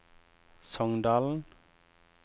Songdalen